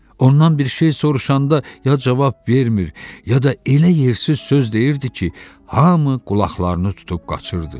Ondan bir şey soruşanda ya cavab vermir, ya da elə yersiz söz deyirdi ki, hamı qulaqlarını tutub qaçırdı.